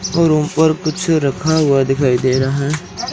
और ऊपर कुछ रखा हुआ दिखाई दे रहा है।